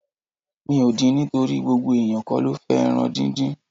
Mi ò din nítorí gbogbo eniyan kó lo fẹ́ ẹran díndín.